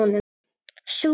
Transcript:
Svo?